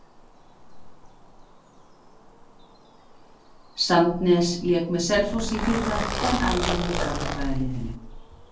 Sandnes lék með Selfossi í fyrra en æfir með Garðabæjarliðinu.